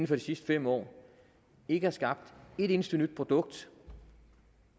for de sidste fem år ikke har skabt et eneste nyt produkt